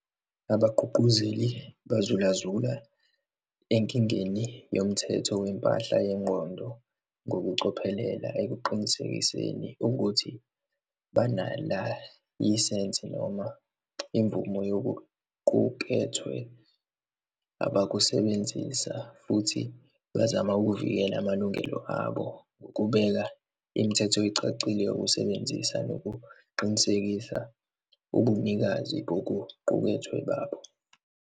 Abagqugquzeli bazulazula enkingeni yomthetho wempahla yengqondo ngokucophelela ekuqinisekiseni ukuthi banalayisensi noma imvumo yokuqukethwe abakusebenzisa, futhi bazama ukuvikela amalungelo abo ngokubeka imithetho ecacile yokusebenzisa nokuqinisekisa ubunikazi bokuqukethwe babo.